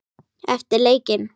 Eftir leikinn?